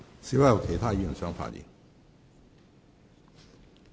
是否有其他議員想發言？